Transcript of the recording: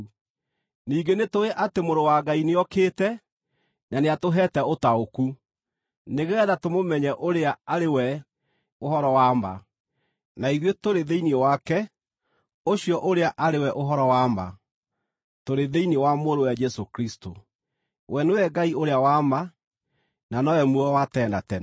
Ningĩ nĩtũũĩ atĩ Mũrũ wa Ngai nĩokĩte na nĩatũheete ũtaũku, nĩgeetha tũmũmenye ũrĩa arĩ we ũhoro wa ma. Na ithuĩ tũrĩ thĩinĩ wake ũcio ũrĩa arĩ we ũhoro wa ma, tũrĩ thĩinĩ wa Mũrũwe Jesũ Kristũ. We nĩwe Ngai ũrĩa wa ma, na nowe muoyo wa tene na tene.